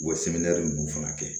Wa ninnu fana kɛ